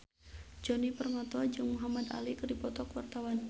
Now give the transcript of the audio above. Djoni Permato jeung Muhamad Ali keur dipoto ku wartawan